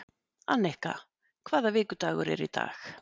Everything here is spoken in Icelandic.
Annika, hvaða vikudagur er í dag?